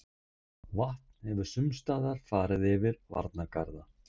Vatn hefur sumstaðar farið yfir varnargarða